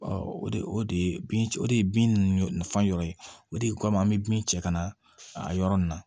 o de bin o de ye bin nafa yɔrɔ ye o de kama an bɛ bin cɛ kana a yɔrɔ nin na